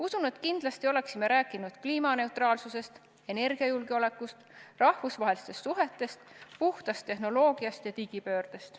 Usun, et kindlasti oleksime rääkinud kliimaneutraalsusest, energiajulgeolekust, rahvusvahelistest suhetest, puhtast tehnoloogiast ja digipöördest.